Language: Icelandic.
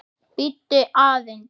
Bíddu aðeins.